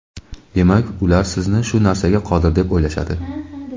demak ular sizni shu narsaga qodir deb o‘ylashadi.